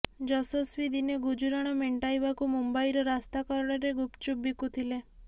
ଯଶସ୍ୱୀ ଦିନେ ଗୁଜୁରାଣ ମେଣ୍ଟାଇବାକୁ ମୁମ୍ବାଇର ରାସ୍ତାକଡ଼ରେ ଗୁପ୍ଚୁପ୍ ବିକୁଥିଲେ